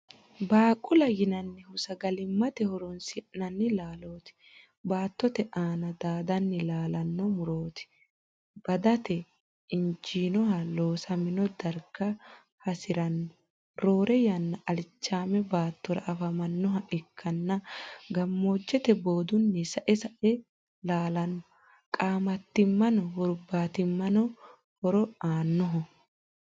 Baaqula yinannihu sagalimmate horoonsi'nanni laalooti. Baattote aana daadanni laalanno murooti. Daadate injiinoha loosamino darga hasi'ranno. Roore yanna alichaame baattora afamannoha ikkanna gammoojjeteno boodunni sae sae laalanno. Qaamattimmano hurbaatimmano horo aannoho